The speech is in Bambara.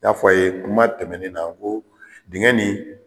N y'a fɔ a ye kuma tɛmɛnen na ko dingin nin